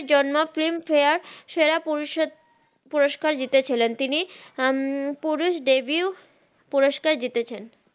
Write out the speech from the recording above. film ফারে সেরা পুরুকার জিতে ছিলেন তিনি পুরুস দেবিউ পুরুস্কার জিতেছেন